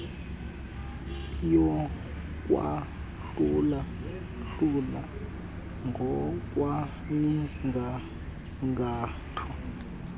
yokwahlula hlula ngokwemigangatho